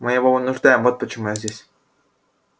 мы его вынуждаем вот почему я здесь